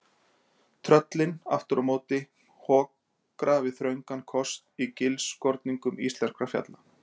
Tröllin, aftur á móti, hokra við þröngan kost í gilskorningum íslenskra fjalla.